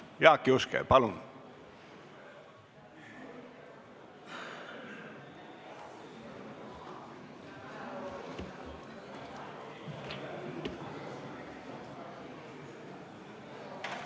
Jaak Juske, palun!